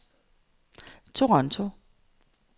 Toronto